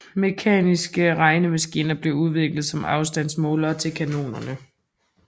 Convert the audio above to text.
Mekaniske regnemaskiner blev udviklet som afstandsmålere til kanonerne